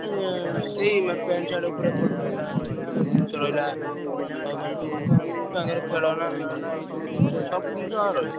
ଉଁ ସେଇ pant, shirt ଉପରେ ଏପଟେ ରହିଲା grocery ଜିନିଷ ରହିଲା। ଆଉ ମାନେ ସବୁ ଛୁଆଙ୍କର ଖେଳନା ମେଳନା ଏଇ ସବୁ ଜିନିଷ ସବୁ ଜିନିଷ ରହିବ।